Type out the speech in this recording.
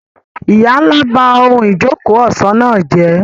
Ìyá ńlá ba ohun ìjókòó ọ̀ṣọ́ náà jẹ́.